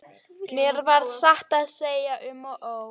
Mér varð satt að segja um og ó.